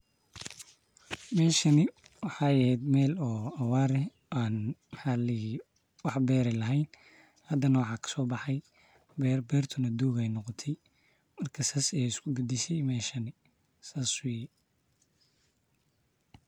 Meshaani waxey ehet mel oo awaar eeh aan maxa laa dihi jiire wax beer aah laheyn. hadana waxa kasoo baxay beer bertuuna dowg ayeey noqotay markaa sas ayey iskuu badashee meshaani marka sas weye.